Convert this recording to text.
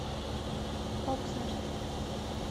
окснард